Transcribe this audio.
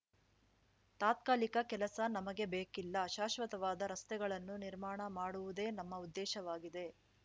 ತಾತ್ಕಾಲಿಕ ಕೆಲಸ ನಮಗೆ ಬೇಕಿಲ್ಲ ಶಾಶ್ವತವಾದ ರಸ್ತೆಗಳನ್ನು ನಿರ್ಮಾಣ ಮಾಡುವುದೇ ನಮ್ಮ ಉದ್ದೇಶವಾಗಿದೆ